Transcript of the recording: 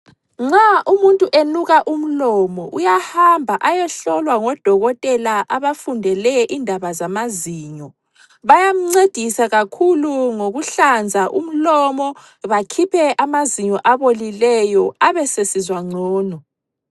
Nxa umuntu enuka umlomo uyahamba ayehlolwa ngodokotela abafundele indaba zamazinyo bayamncedisa kakhulu ngokuhlanza umlomo, bakhiphe amazinyo abolileyo abesesizwa ngcono.